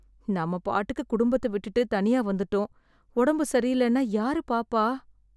நாம பாட்டுக்கு குடும்பத்த விட்டுடு தனியா வந்துட்டோம். ஒடம்பு சரியில்லைனா யாரு பார்ப்பா